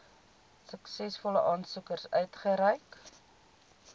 suksesvolle aansoekers uitgereik